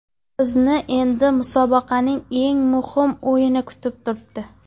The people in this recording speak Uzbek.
Bizni endi musobaqaning eng muhim o‘yini kutib turibdi.